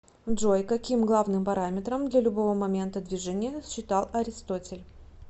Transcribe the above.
джой каким главным параметром для любого момента движения считал аристотель